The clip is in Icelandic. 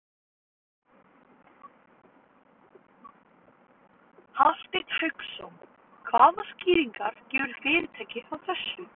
Hafsteinn Hauksson: Hvaða skýringar gefur fyrirtækið á þessu?